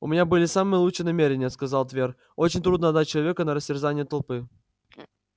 у меня были самые лучшие намерения сказал твер очень трудно отдать человека на растерзание толпы